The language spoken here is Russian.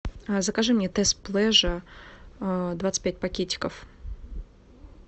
закажи мне тесс плеже двадцать пять пакетиков